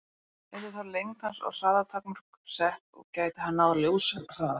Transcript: Yrðu þá lengd hans og hraða takmörk sett, og gæti hann náð ljóshraða?